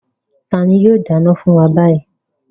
Tani yóò dáná fún wa báyìí?